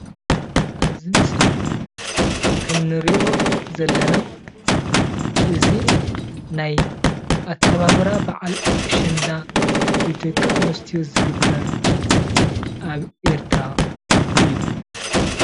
ኣብዚ ምስሊ ከም እንሪኦ ዘለና እዚ ናይ ኣከባብራ በዓል ኣሸንዳ ብደቂ ኣንስትዮ ዝግበር ኣብ ኤርትራ እዩ ።